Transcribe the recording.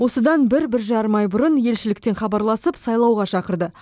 осыдан бір бір жарым ай бұрын елшіліктен хабарласып сайлауға шақырды